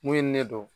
Mun ye ne dɔn